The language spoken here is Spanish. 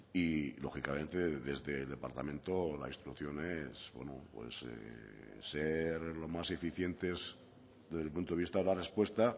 y lógicamente desde el departamento la instrucción es bueno pues ser lo más eficientes desde el punto de vista de la respuesta